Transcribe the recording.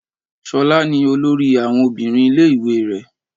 Ṣolá ní olórí àwọn obìnrin ilé ìwé rẹ.